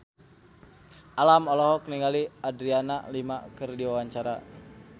Alam olohok ningali Adriana Lima keur diwawancara